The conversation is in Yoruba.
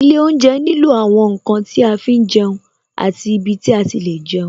Ilé oúnjẹ nílò àwọn ǹkan tí a fi ń jẹun àti ibi tí a ti lè jẹun